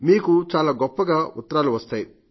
మీకు చాలా గొప్పగా ఉత్తరాలు వస్తాయి